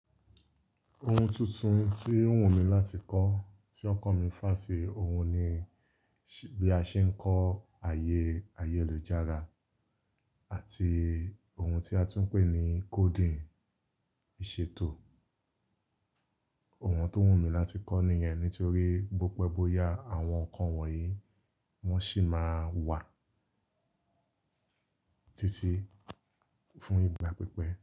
Ohun tuntun tí n wù mí láti kọ́ tí ókan mi fà ṣì ohun ni bí a ṣe ń kọ àyè ayélujára àti ohun tí a tún ń pè ní coding ìṣètò. Ohun tó wùn mí láti kọ́ nìyẹn nítorí bope boyá àwọn nǹkan wọ̀nyí wọ́n sì máa wà títí fún ìgbà pípẹ́.